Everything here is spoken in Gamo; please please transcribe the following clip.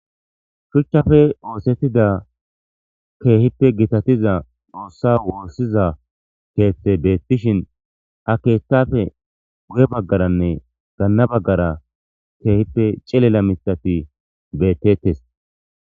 Shuchape oosetiza keehipe gitatiza xoosa wosiza keethe beetishen ha keethape guye bagarane ganna bagara keehipe cilila mitati beetetes.